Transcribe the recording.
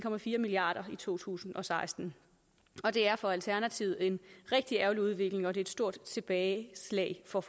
milliard kroner i to tusind og seksten og det er for alternativet en rigtig ærgerlig udvikling og det er et stort tilbageslag for